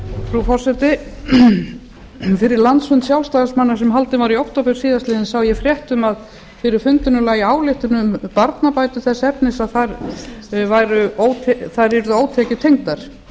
frú forseti fyrir landsfund sjálfstæðismanna sem haldinn var í október síðastliðinn sá ég frétt um að fyrir fundinum lægi ályktun um barnabætur þess efnis að þær yrðu ótekjutengdar